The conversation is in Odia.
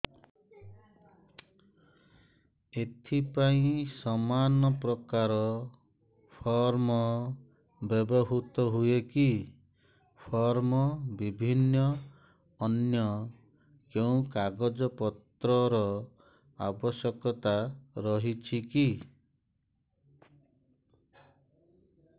ଏଥିପାଇଁ ସମାନପ୍ରକାର ଫର୍ମ ବ୍ୟବହୃତ ହୂଏକି ଫର୍ମ ଭିନ୍ନ ଅନ୍ୟ କେଉଁ କାଗଜପତ୍ରର ଆବଶ୍ୟକତା ରହିଛିକି